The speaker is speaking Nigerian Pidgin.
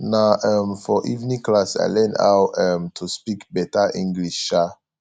na um for evening class i learn how um to speak better english um